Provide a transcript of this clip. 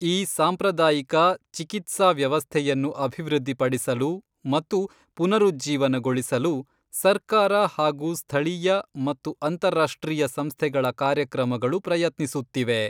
ಈ ಸಾಂಪ್ರದಾಯಿಕ ಚಿಕಿತ್ಸಾ ವ್ಯವಸ್ಥೆಯನ್ನು ಅಭಿವೃದ್ಧಿಪಡಿಸಲು ಮತ್ತು ಪುನರುಜ್ಜೀವನಗೊಳಿಸಲು ಸರ್ಕಾರ ಹಾಗು ಸ್ಥಳೀಯ ಮತ್ತು ಅಂತರರಾಷ್ಟ್ರೀಯ ಸಂಸ್ಥೆಗಳ ಕಾರ್ಯಕ್ರಮಗಳು ಪ್ರಯತ್ನಿಸುತ್ತಿವೆ.